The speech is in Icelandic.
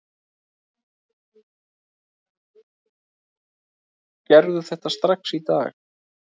Gerðu þetta strax í dag!